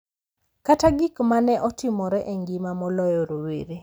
Kata gik ma ne otimore e ngima moloyo rowere,